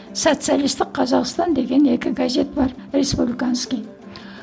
социалистік қазақстан деген екі газет бар республиканский